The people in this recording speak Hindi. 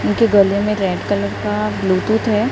इनके गले में रेड कलर का ब्लूटूथ है।